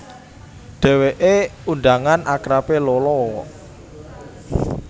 Dhèwèké undangan akrabé Lolo